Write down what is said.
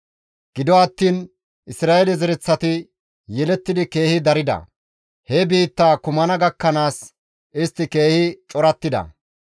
gido attiin Isra7eele zereththati yelettidi keehi darida; he biittaa kumana gakkanaas istti keehi corattida.